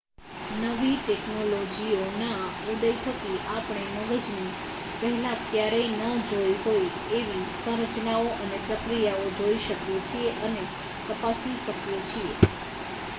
નવી ટેક્નોલોજીઓના ઉદય થકી આપણે મગજની પહેલાં ક્યારેય ન જોઈ હોય તેવી સંરચનાઓ અને પ્રક્રિયાઓ જોઈ શકીએ છીએ અને તપાસી શકીએ છીએ